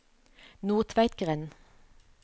Nordtveitgrend